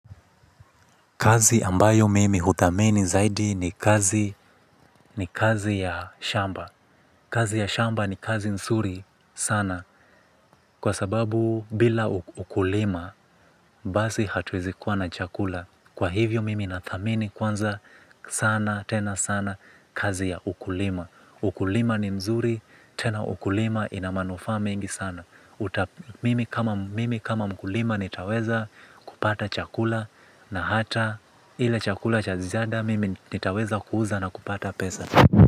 Kazi ambayo mimi huthamini zaidi ni kazi ya shamba. Kazi ya shamba ni kazi nzuri sana. Kwa sababu bila ukulima, basi hatuwezi kuwa na chakula. Kwa hivyo mimi na thamini kwanza sana, tena sana, kazi ya ukulima. Ukulima ni mzuri, tena ukulima ina manufaa mengi sana. Mimi kama mkulima nitaweza kupata chakula. Na hata ile chakula cha ziada mimi nitaweza kuuza na kupata pesa.